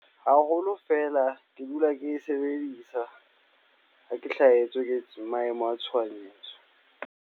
Haholo fela ke dula ke e sebedisa. Ha ke hlahetswe ke maemo a tshohanyetso.